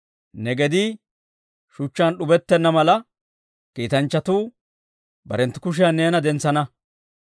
Ne gedii shuchchaan d'ubettenna mala, kiitanchchatuu barenttu kushiyan neena dentsana.